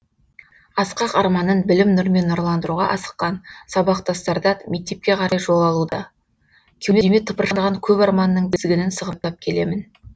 асқақ арманын білім нұрмен нұрландыруға асыққан сабақтастарда мектепке қарай жол алуда кеудеме тыпыршыған көп арманның тізгінін сығымдап келемін